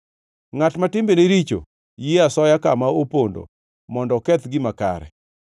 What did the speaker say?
Ngʼat ma timbene richo yie asoya kama opondo mondo oketh gima kare.